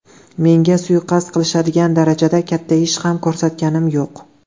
Menga suiqasd qilishadigan darajada katta ish ham ko‘rsatganim yo‘q.